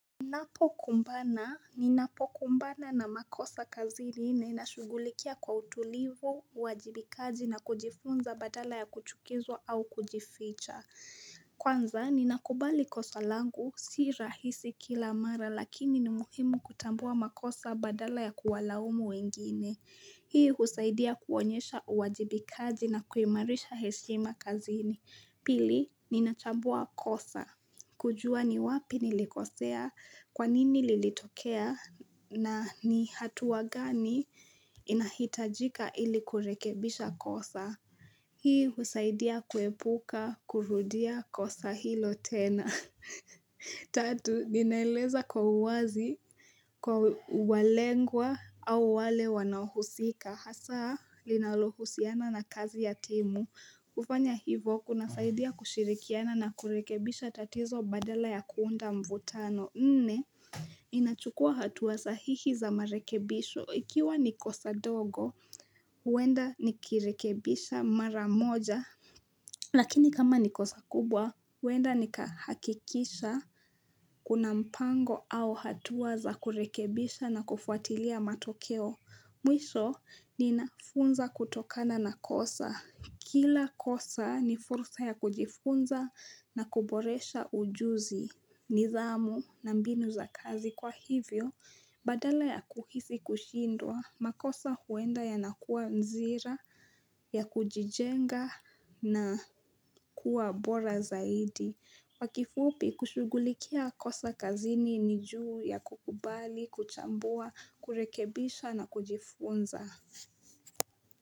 Ninapokumbana, ninapokumbana na makosa kazini ninashughulikia kwa utulivu, uwajibikaji na kujifunza badala ya kuchukizwa au kujificha. Kwanza, ninakubali kosa langu, si rahisi kila mara lakini ni muhimu kutambua makosa badala ya kuwalaumu wengine. Hii husaidia kuonyesha uwajibikaji na kuimarisha heshima kazini. Pili, ninachambua kosa. Kujua ni wapi nilikosea, kwa nini lilitokea, na ni hatua gani inahitajika ili kurekebisha kosa. Hii husaidia kuepuka, kurudia kosa hilo tena. Tatu, ninaeleza kwa uwazi, kwa walengwa au wale wanahusika. Hasaa linalohusiana na kazi ya timu. Kufanya hivo kunasaidia kushirikiana na kurekebisha tatizo badala ya kuunda mvutano. Nne Ninachukua hatua sahihi za marekebisho. Ikiwa ni kosa ndogo, huenda nikirekebisha mara moja. Lakini kama ni kosa kubwa, huenda nikahakikisha kuna mpango au hatua za kurekebisha na kufuatilia matokeo. Mwisho ninafunza kutokana na kosa. Kila kosa ni fursa ya kujifunza na kuboresha ujuzi, nidhamu na mbinu za kazi. Kwa hivyo, badala ya kuhisi kushindwa, makosa huenda yanakuwa nzira, ya kujijenga na kuwa bora zaidi. Kwa kifupi kushughulikia kosa kazini ni juu ya kukubali, kuchambua, kurekebisha na kujifunza.